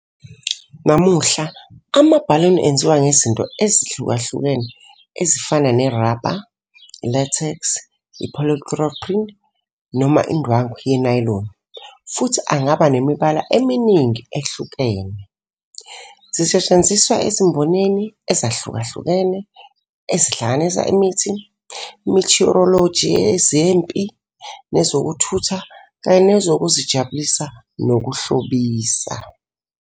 Namuhla, amabhaluni enziwe ngezinto ezihlukahlukene ezifana nerabha, i-latex, i-polychloroprene noma indwangu yenayiloni, futhi angaba nemibala eminingi ehlukene. Zisetshenziswa ezimbonini ezahlukahlukene, ezihlanganisa imithi, i-meteorology, ezempi, nezokuthutha, kanye nezokuzijabulisa nokuhlobisa.